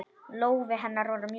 Lófi hennar var mjúkur.